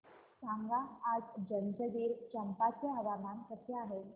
सांगा आज जंजगिरचंपा चे हवामान कसे आहे